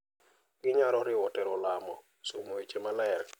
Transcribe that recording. Ginyalo riwo tero lamo, somo weche maler, .